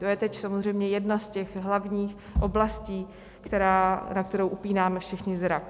To je teď samozřejmě jedna z těch hlavních oblastí, na kterou upínáme všichni zrak.